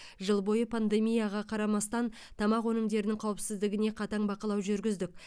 жыл бойы пандемияға қарамастан тамақ өнімдерінің қауіпсіздігіне қатаң бақылау жүргіздік